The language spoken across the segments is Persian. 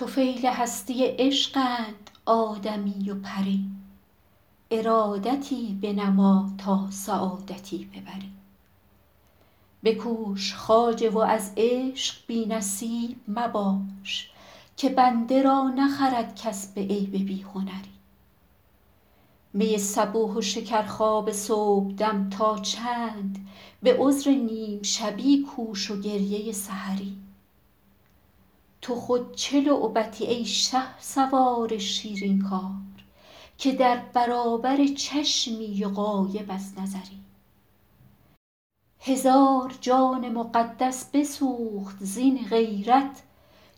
طفیل هستی عشقند آدمی و پری ارادتی بنما تا سعادتی ببری بکوش خواجه و از عشق بی نصیب مباش که بنده را نخرد کس به عیب بی هنری می صبوح و شکرخواب صبحدم تا چند به عذر نیم شبی کوش و گریه سحری تو خود چه لعبتی ای شهسوار شیرین کار که در برابر چشمی و غایب از نظری هزار جان مقدس بسوخت زین غیرت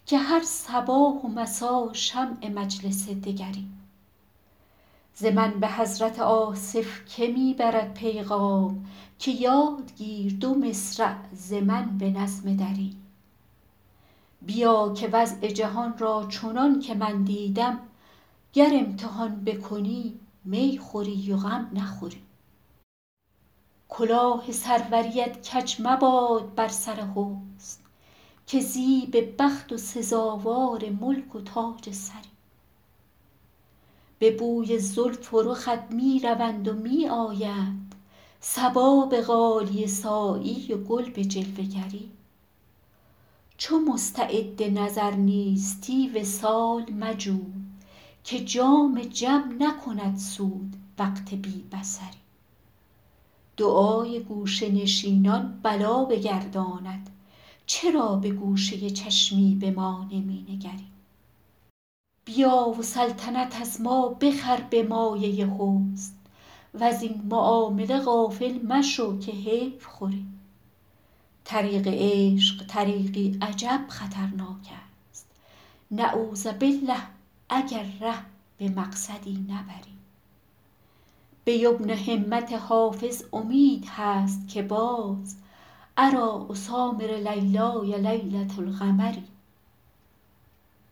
که هر صباح و مسا شمع مجلس دگری ز من به حضرت آصف که می برد پیغام که یاد گیر دو مصرع ز من به نظم دری بیا که وضع جهان را چنان که من دیدم گر امتحان بکنی می خوری و غم نخوری کلاه سروریت کج مباد بر سر حسن که زیب بخت و سزاوار ملک و تاج سری به بوی زلف و رخت می روند و می آیند صبا به غالیه سایی و گل به جلوه گری چو مستعد نظر نیستی وصال مجوی که جام جم نکند سود وقت بی بصری دعای گوشه نشینان بلا بگرداند چرا به گوشه چشمی به ما نمی نگری بیا و سلطنت از ما بخر به مایه حسن وزین معامله غافل مشو که حیف خوری طریق عشق طریقی عجب خطرناک است نعوذبالله اگر ره به مقصدی نبری به یمن همت حافظ امید هست که باز اریٰ اسامر لیلای لیلة القمری